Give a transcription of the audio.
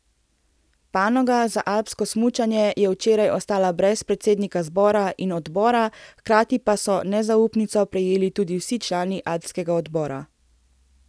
Panoga za alpsko smučanje je včeraj ostala brez predsednika zbora in odbora, hkrati pa so nezaupnico prejeli tudi vsi člani alpskega odbora.